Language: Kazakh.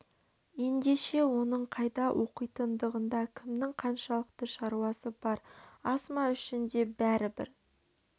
ендеше оның қайда оқитындығында кімнің қаншалықты шаруасы бар асма үшін де бәрібір